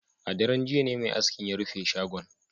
A daren jiya ne mai askin ya rufe shagon